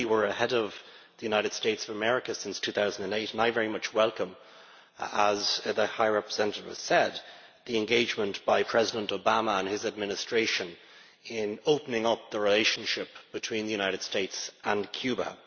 We have been ahead of the United States of America since 2008, and I very much welcome, as the High Representative has said, the engagement by President Obama and his administration in opening up the relationship between the United States and Cuba.